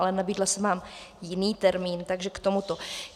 Ale nabídla jsem vám jiný termín, takže k tomuto.